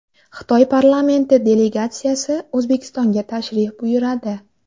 Xitoy parlamenti delegatsiyasi O‘zbekistonga tashrif buyuradi.